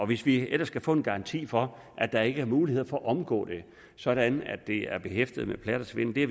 hvis vi ellers kan få en garanti for at der ikke er mulighed for at omgå det sådan at det er behæftet med plat og svindel det